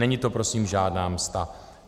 Není to prosím žádná msta.